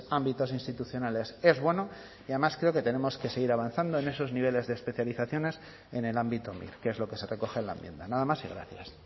ámbitos institucionales es bueno y además creo que tenemos que seguir avanzando en esos niveles de especializaciones en el ámbito que es lo que se recoge en la enmienda nada más y gracias